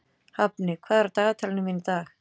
Hafni, hvað er á dagatalinu mínu í dag?